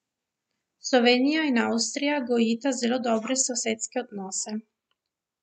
Slovenija in Avstrija gojita zelo dobre sosedske odnose.